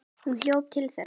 Hún hljóp til þeirra.